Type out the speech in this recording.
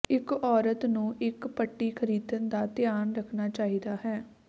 ਇੱਕ ਔਰਤ ਨੂੰ ਇੱਕ ਪੱਟੀ ਖਰੀਦਣ ਦਾ ਧਿਆਨ ਰੱਖਣਾ ਚਾਹੀਦਾ ਹੈ